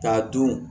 K'a dun